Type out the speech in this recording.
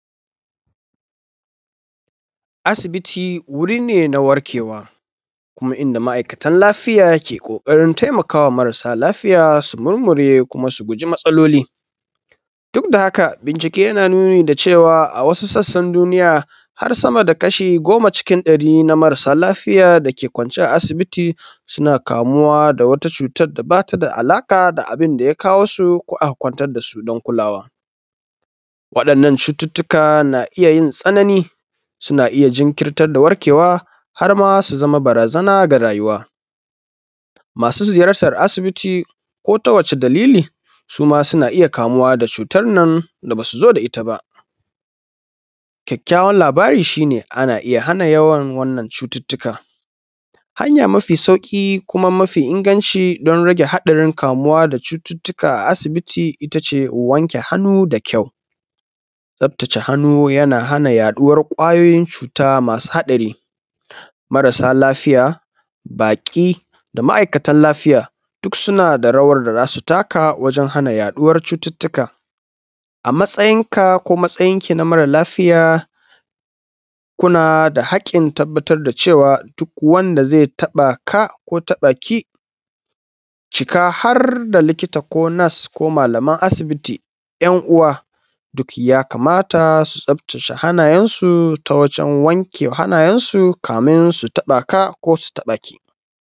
Asibiti wuri ne na warkewa kuma inda ma'aikatan lafiya ke kokarin taimakawa marasa lafiya su murmure su ji matsaloli. Duk da haka bincike yana nuni da cewa wasu sassan duniya har sama da kashi goma na cikin marasa lafiya dake kwance a asibiti suna kamuwa da wata cutar da ba ta alaƙa da abin da ya kawonsu ko aka kwantar da su don kulawa. Waɗannan cututtuka na iya uin tsanani suna iya jinkintarwa har ma su zama barazana ga rayuwa masu ziyartar asibiti ko ta wace dalili suma suna iya kamuwa da cutan nan da ba su zo da ita ba. Ƙyaƙƙyawar labari shi ne ana iya hana wannan cututtuka. Hanya mafi sauƙi kuma mafi inganci don rage haɗari kamuwa da cututtuka a asibiti ita ce wanke hannuwa da ƙyau, tsaftace hannu yana hana yaduwar ƙwayoyin cuta masu haɗari, marasa lafiya baƙi da ma'aikatan lafiya duk suna da rawar da za su taka don hana yaduwar cuttuttuka a matsayinka ko matsayinki na mara lafiya kuna da haƙƙin tabbatar da cewa duk wanda zai taɓa ka ko taba ka ciki har da likita ko nurse ko malaman asibiti 'yan uwa duk ya kamata su tsaftace hannayensu ta wajen wanke hannayensu kamin su taɓa ka ko su taɓa ki